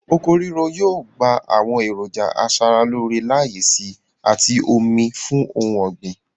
Oko ríro yòò gba àwọn èròńjà asara-lóóre láyè síi àti omi fún ohun ọ̀gbìn.